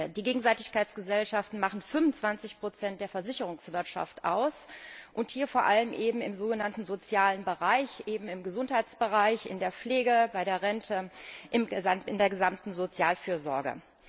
Die Gegenseitigkeitsgesellschaften machen 25 der Versicherungswirtschaft aus, und hier vor allem im sogenannten sozialen Bereich, also im Gesundheitsbereich, in der Pflege, bei der Rente, in der gesamten Sozialfürsorge.